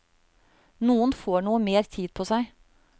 Noen får noe mer tid på seg.